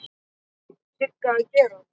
Sigga að gera?